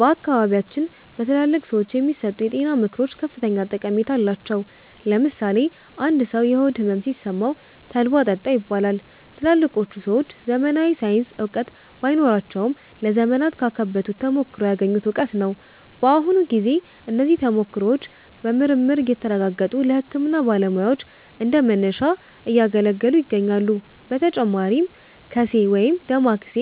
በአካባቢያችን በትላልቅ ሰዎች የሚሰጡ የጤና ምክሮች ከፍተኛ ጠቀሜታ አላቸው። ለምሳሌ አንድ ሰው የሆድ ሕመም ሲሰማው 'ተልባ ጠጣ' ይባላል። ትላልቆቹ ሰዎች ዘመናዊ ሳይንሳዊ እውቀት ባይኖራቸውም፣ ለዘመናት ካካበቱት ተሞክሮ ያገኙት እውቀት ነው። በአሁኑ ጊዜ እነዚህ ተሞክሮዎች በምርምር እየተረጋገጡ ለሕክምና ባለሙያዎች እንደ መነሻ እያገለገሉ ይገኛሉ። በተጨማሪም 'ቀሴ' (ወይም ዳማከሴ)